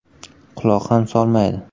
Quloq ham solmaydi.